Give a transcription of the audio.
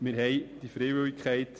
Wir haben die Freiwilligkeit.